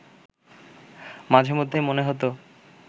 মাঝেমধ্যে মনে হতো